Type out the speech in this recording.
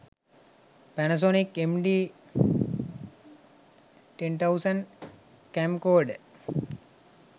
pannasonic md 10000 camcorder